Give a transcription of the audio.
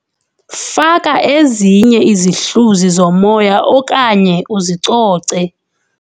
Faka ezinye izihluzi zomoya okanye uzicoce.